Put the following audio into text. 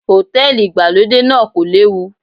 Hòtẹ́lìì ìgbàlódé náà kò léwu.